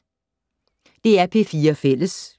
DR P4 Fælles